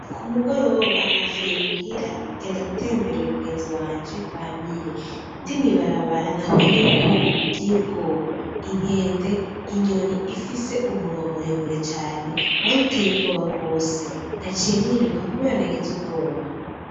Kumugoroba navuye muhira ngenda gutemberera umugenzi wanje Bamire ndi mwibarabara nahuye n'ibikoko biteye ubwoba ;inkende, inyoni ifise umunwa muremure cane waruteye ubwoba gose naciye niruka kubera nagize ubwoba .